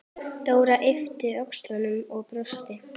Dóra yppti öxlum og brosti.